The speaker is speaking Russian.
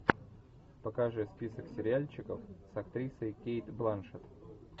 покажи список сериальчиков с актрисой кейт бланшетт